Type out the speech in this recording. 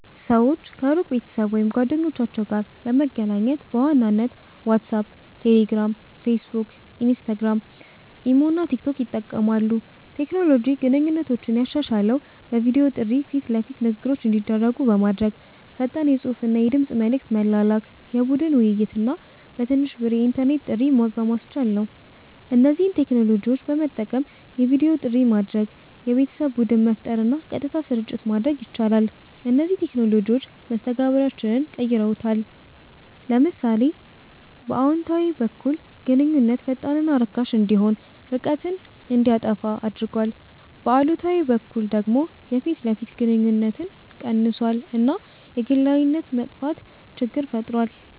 ሰዎች ከሩቅ ቤተሰብ ወይም ጓደኞቻቸው ጋር ለመገናኘት በዋናነት ዋትሳፕ፣ ቴሌግራም፣ ፌስቡክ፣ ኢንስታግራም፣ ኢሞ እና ቲክቶክ ይጠቀማሉ። ቴክኖሎጂ ግንኙነቶችን ያሻሻለው በቪዲዮ ጥሪ ፊት ለፊት ንግግሮች እንዲደረጉ በማድረግ፣ ፈጣን የጽሁፍና የድምጽ መልዕክት መላላክ፣ የቡድን ውይይት እና በትንሽ ብር የኢንተርኔት ጥሪ በማስቻል ነው። እነዚህን ቴክኖሎጂዎች በመጠቀም የቪዲዮ ጥሪ ማድረግ፣ የቤተሰብ ቡድን መፍጠር እና ቀጥታ ስርጭት ማድረግ ይቻላል። እነዚህ ቴክኖሎጂዎች መስተጋብራችንን ቀይረውታል። ለምሳሌ በአዎንታዊ በኩል ግንኙነት ፈጣንና ርካሽ እንዲሆን፣ ርቀትን እንዲያጠፋ አድርጓል፤ በአሉታዊ በኩል ደግሞ የፊት ለፊት ግንኙነት ቀንሷል እና የግላዊነት መጥፋት ችግር ፈጥሯል።